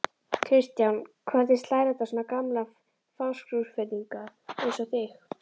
Kristján: Hvernig slær þetta svona gamla Fáskrúðsfirðinga eins og þig?